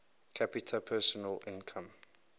capita personal income